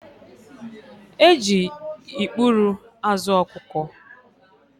E ji ikpuru azụ ọkụkọ